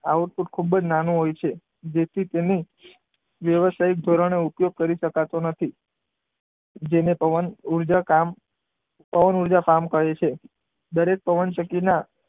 આવું ખૂબ જ નાનું હોય છે જેથી તેની વ્યવસાયિક ધોરણે ઉપયોગ કરી શકાતો નથી. જેને પવન ઊર્જા ફાર્મ પવન ઊર્જા ફાર્મ કહે છે. દરેક પવનચક્કીના,